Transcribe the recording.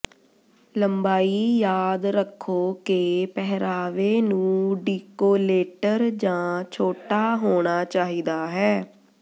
ਲੰਬਾਈ ਯਾਦ ਰੱਖੋ ਕਿ ਪਹਿਰਾਵੇ ਨੂੰ ਡੀਕੋਲੇਟਰ ਜਾਂ ਛੋਟਾ ਹੋਣਾ ਚਾਹੀਦਾ ਹੈ